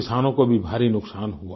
किसानों को भी भारी नुकसान हुआ